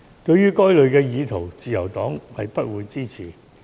對於該類意圖，自由黨不會支持。